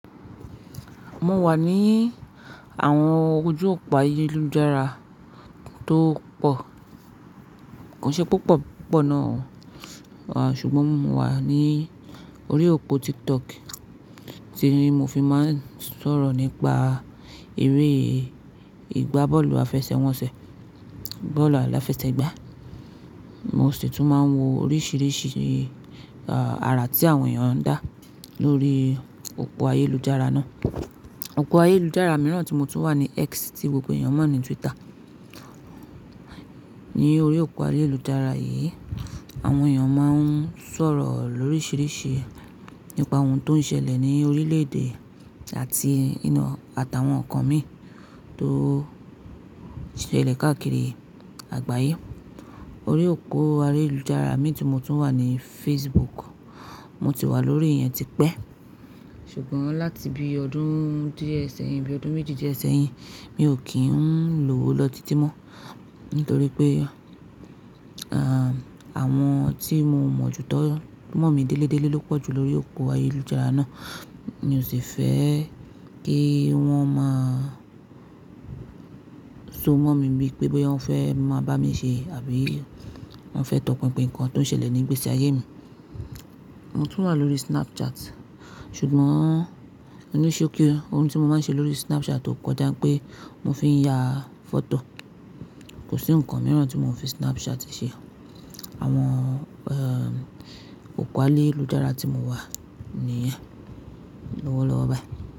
Mo wà ní àwọn ojú òpó ayélujára tó pọ̀, kò ṣe púpọ̀ púpọ̀ náà o, ṣùgbọ́n mo wà ní orí òpó TikTok tí mo fi máa ń sọ̀rọ̀ nípa eré ìgbá bọ́ọ̀lù àfẹsẹ̀wọnsẹ̀, bọ́ọ̀lù aláfẹsẹ̀gbá. Mo sì tún máa ń wo oríṣiríṣi àrà tí àwọn èèyàn ń dá lórí òpó ayélujára náà. Òpó ayélujára mìíràn tí mo tún wà ni X tí gbogbo èèyàn mọ̀ ní Twitter. Ní orí òpó ayélujára yìí, àwọn èèyàn máa ń sọ̀rọ̀ lóríṣiríṣi nípa ohun tó ń ṣẹlẹ̀ ní orílẹ̀-èdè àti inú àtàwọn ọ̀kan mi tó ṣẹlẹ̀ káàkiri àgbáyé. Orí òpó ayélujára mìíràn tí mo tún wà ni Facebook. Mo ti wà lórí ìyẹn tipẹ́, ṣùgbọ́n láti bí ọdún díè sẹ́yìn, bí ọdún méjì díè sẹ́yìn, mi ò kí ń lò ó lọ títí mọ́, nítorí pé, àwọn tí mo mọ̀ jù tọ́, mọ̀ mí délé délé ló pọ̀ jù lórí òpó ayélujára náà. Mi ò sì fẹ́ kí wọ́n máa so mọ̀ mí bí i pé bóyá wọ́n fẹ́ máa bá mi ṣe àbí wọ́n fẹ́ tọpinpin nǹkan tó ń ṣẹlẹ̀ ní gbésè ayé mi. Mo tún wà lórí Snapchat, ṣùgbọ́n ni ṣókí o ohun tí mo máa ń ṣe lórí Snapchat kọjá pé mo fi ń ya fọ́tò. Kò sí ǹkan mìíràn tí mo fi Snapchat ṣe. Àwọn òpó ayélujára tí mo wà nìyẹn. Lọ́wọ́ lọ́wọ́, bayi.